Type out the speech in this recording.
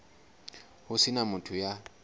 ho se na motho ya